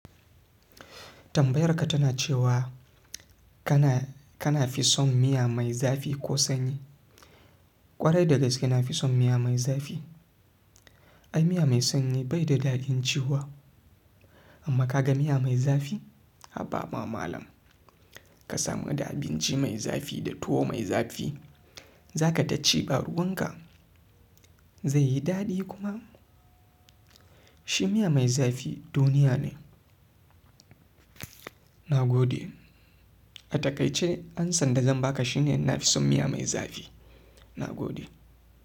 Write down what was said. Tambayarka tana cewa, kana, kana fi son miya mai zafi ko sanyi? Kwarai da gaske na fi son miya mai zafi. Ai miya mai sanyi bai da daɗin ciwa. Amma ka ga miya mai zafi, habba ma malam. Ka samu da abinci mai zafi da tuwo mai zafi, za ka ta ci ba ruwan ka. Zai yi daɗi kuma. Shi miya mai zafi duniya ne. Na gode. A takaice amsan da zan baka shine na fi son miya mai zafi. Na gode.